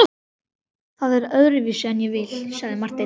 Það er öðruvísi en ég vil, sagði Marteinn.